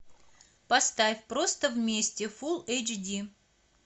поставь просто вместе фул эйч ди